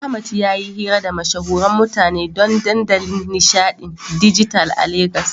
Ahmad yayi hira da mashahuran mutane don dandalin nishaɗin dijital a Legas.